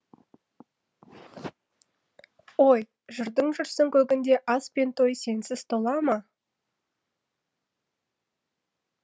ой жырдың жүрсің көгінде ас пен той сенсіз тола ма